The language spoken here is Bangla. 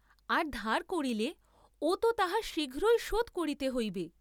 আর ধার করিলে ও তো তাহা শীঘ্র শোধ করিতে হইবে।